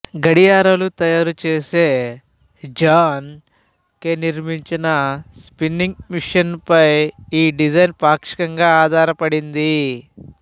గడియారాలు తయారు చేసే జాన్ కే నిర్మించిన స్పిన్నింగ్ మిషనుపై ఈ డిజైన్ పాక్షికంగా ఆధారపడింది